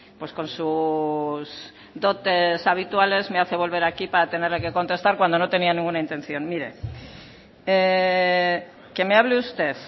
pues con sus dotes habituales me hace volver aquí para tenerle que contestar cuando no tenía ninguna intención mire que me hable usted